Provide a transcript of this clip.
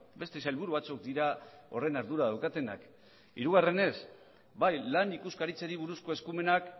beste sailburu batzuk dira horren ardura daukatenak hirugarrenez bai lan ikuskaritzari buruzko eskumenak